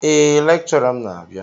Eé, lékchọrà m n'abia